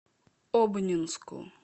обнинску